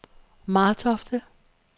Martofte